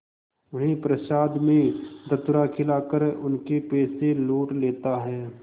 उन्हें प्रसाद में धतूरा खिलाकर उनके पैसे लूट लेता है